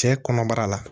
Cɛ kɔnɔbara la